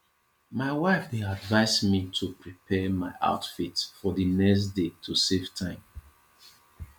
my wife dey advise me to prepare my outfit for the next day to save time